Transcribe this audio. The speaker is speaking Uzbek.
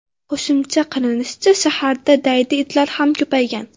Qo‘shimcha qilinishicha, shaharda daydi itlar ham ko‘paygan.